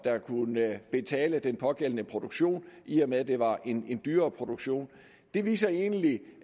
kunne betale den pågældende produktion i og med at det var en dyrere produktion det viser egentlig